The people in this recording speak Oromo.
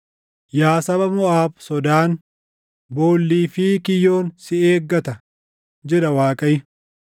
Yaa saba Moʼaab sodaan, boollii fi kiyyoon si eeggata” jedha Waaqayyo.